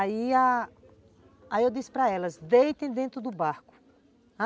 Aí a, aí eu disse para elas, deitem dentro do barco.